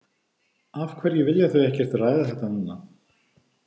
Af hverju vilja þau ekkert ræða þetta núna?